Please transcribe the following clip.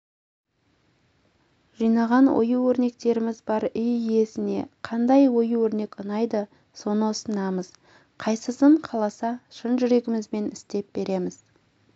жинаған ою-өрнектеріміз бар үй йесіне қандай ою-өрнек ұнайды соны ұсынамыз қайсысын қаласа шын жүрегімізбен істеп береміз